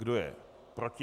Kdo je proti?